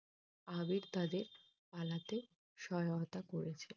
আগে তাদের পালতে সহায়তা করেছিল।